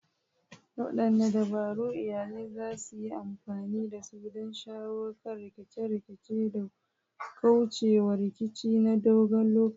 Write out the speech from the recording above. Wadanne dabaru iyalai za su yi amfani da su don shawo kan rikice-rikice da kauce wa rikici na dogon lokaci?